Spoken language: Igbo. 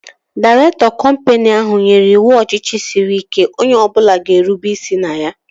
Dairektọ kọmpini ahụ nyere iwu ọchịchị sịrị ike onye ọbụla ga-erube isi na ya